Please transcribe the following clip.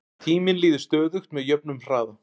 tíminn líður stöðugt með jöfnum hraða